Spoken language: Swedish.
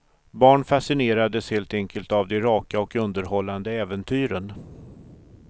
Barn fascinerades helt enkelt av de raka och underhållande äventyren.